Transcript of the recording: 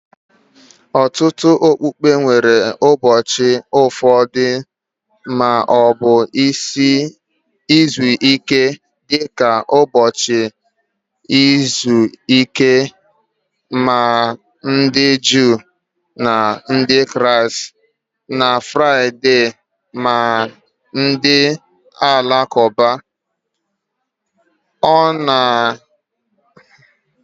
Ọtụtụ okpukpe nwere ụbọchị ofufe ma ọ bụ izu ike, dị ka ụbọchị izu ike maka ndị Juu na Ndị Kraịst na Fraịde maka ndị Alakụba. Omenala okpukpe ndị a emetụtawo ụzọ anyị si ahazi izu ọrụ anyị na oge ntụrụndụ anyị, ha na-anọgidekwa na-enwe mmetụta dị ukwuu ná ndụ anyị kwa ụbọchị